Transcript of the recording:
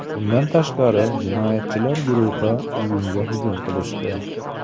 Bundan tashqari, jinoyatchilar guruhi uyimga hujum qilishdi.